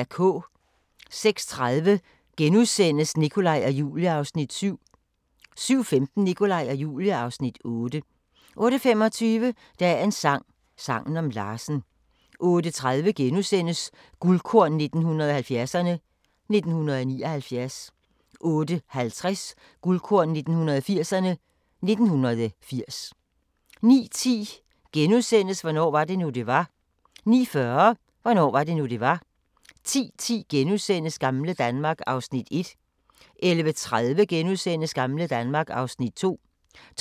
06:30: Nikolaj og Julie (Afs. 7)* 07:15: Nikolaj og Julie (Afs. 8) 08:25: Dagens sang: Sangen om Larsen 08:30: Guldkorn 1970'erne: 1979 * 08:50: Guldkorn 1980'erne: 1980 09:10: Hvornår var det nu, det var? * 09:40: Hvornår var det nu, det var? 10:10: Gamle Danmark (Afs. 1)* 11:30: Gamle Danmark (Afs. 2)*